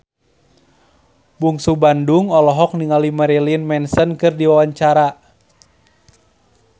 Bungsu Bandung olohok ningali Marilyn Manson keur diwawancara